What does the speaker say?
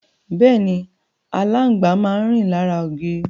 Bẹ́ẹ̀ni, aláǹgbá máa rìn lára ògiri.